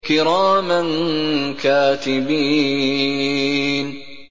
كِرَامًا كَاتِبِينَ